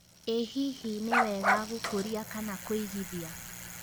ĩ hihi nĩ wega gũkuria kana kũigithia